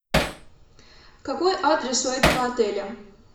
какой адрес у этого отеля